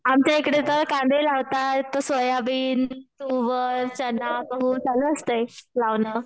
आमच्या इकडे तर कांदे लावतात, सोयाबीन, तुवर, चना, गहू चालू असतं लावणं